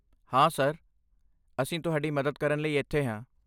ਹਾਂ ਸਰ, ਅਸੀਂ ਤੁਹਾਡੀ ਮਦਦ ਕਰਨ ਲਈ ਇੱਥੇ ਹਾਂ।